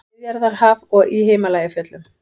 Miðjarðarhaf og í Himalajafjöllum.